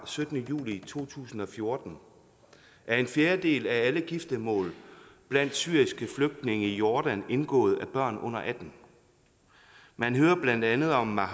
syttende juli to tusind og fjorten er en fjerdedel af alle giftermål blandt syriske flygtninge i jordan indgået af børn under atten år man hører blandt andet om maha